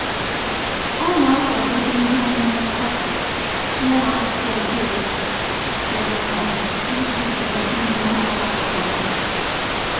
Ọ na-akwadobe ihe ọṅụṅụ kọfị ya na akwụkwọ odee ya n'abalị iji belata ime ihe ọsọọsọ n'ụtụtụ.